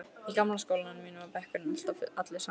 Í gamla skólanum mínum var bekkurinn alltaf allur saman.